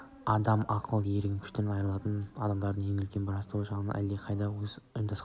адам ақыл ерік күшінен айырылады да адамдардың үлкен бір тобы сан жағынан әлдеқайда аз ұйымдасқан